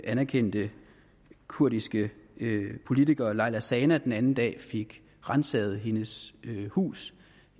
anerkendte kurdiske politiker leyla zana den anden dag fik ransaget sit hus